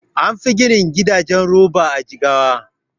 Anfi gina gidajen roba a Jigawa